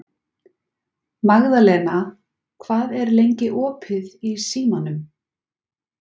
Magðalena, hvað er lengi opið í Símanum?